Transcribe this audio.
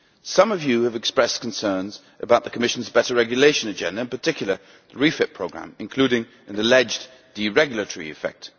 Some of you have expressed concerns about the Commission's Better Regulation Agenda, in particular the REFIT Programme, including an alleged deregulatory effect.